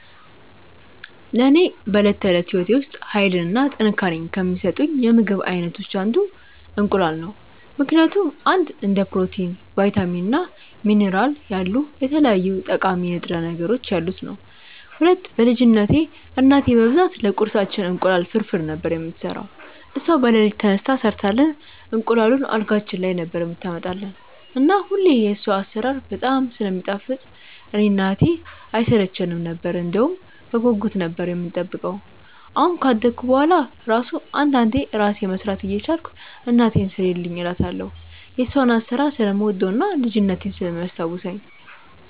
ለኔ በዕለት ተዕለት ሕይወቴ ውስጥ ኃይልን እና ጥንካሬን ከሚሰጡኝ የምግብ አይነቶች አንዱ እንቁላል ነው ምክንያቱም፦ 1. እንደ ፕሮቲን፣ ቫይታሚን እና ሚኒራል ያሉ የተለያዩ ጠቃሚ ንጥረ ነገሮች ያሉት ነዉ። 2. በ ልጅነትቴ እናቴ በብዛት ለቁርሳችን እንቁላል ፍርፍር ነበር የምትሰራው እሷ በለሊት ተነስታ ሰርታልን እንቁላሉን አልጋችን ላይ ነበር የምታመጣልን እና ሁሌ የሷ አሰራር በጣም ስለሚጣፍጥ እኔ እና እህቴ አይሰለቸነም ነበር እንደውም በጉጉት ነበር የምንጠብቀው አሁን ካደኩ በሁዋላ እራሱ አንዳንዴ እራሴ መስራት እየቻልኩ እናቴን ስሪልኝ እላታለው የሷን አሰራር ስለምወደው እና ልጅነቴን ስለሚያስታውሰኝ።